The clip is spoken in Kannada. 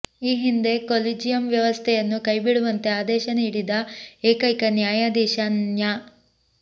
ಈ ಹಿಂದೆ ಕೊಲಿಜಿಯಂ ವ್ಯವಸ್ಥೆಯನ್ನು ಕೈಬಿಡುವಂತೆ ಆದೇಶ ನೀಡಿದ ಏಕೈಕ ನ್ಯಾಯಾಧೀಶ ನ್ಯಾ